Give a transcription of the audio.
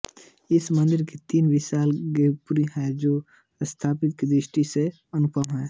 इस मंदिर के तीन विशाल गोपुरम हैं जो स्थापत्य की दृष्टि से अनुपम हैं